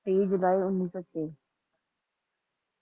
Two Three July One Nine Zero Six